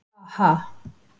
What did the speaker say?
Ha ha!